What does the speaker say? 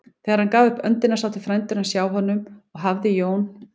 Þegar hann gaf upp öndina sátu frændur hans hjá honum og hafði Jón